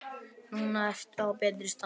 Núna ertu á betri stað.